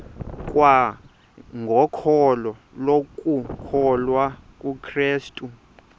kwangokholo lokukholwa kukrestu